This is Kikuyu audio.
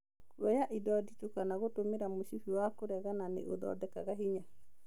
Kuoya indo nditũ kana gũtũmĩra mũcibi wa kũregana nĩ ũthondekaga hinya